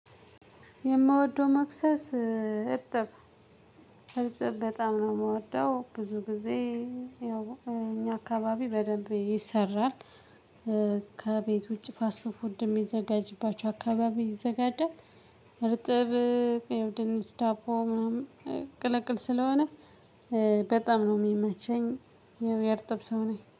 የምወደው መክሰስ እርጥብ እርጥብ በጣም ነው የምወደው ብዙ ግዜ እኛ አካባቢ በደንብ ይሰራል። ከቤት ውጪ ፋስት ፉድ የሚዘጋጅባቸው አካባቢ ይዘጋጃል። እርጥብ ድንች ዳቦ ምናምን ቅልቅል ስለሆነ በጣም ነው የሚመቸኝ። ያው የርጥብ ሰው ነኝ